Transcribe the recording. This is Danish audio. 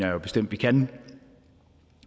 jo bestemt vi kan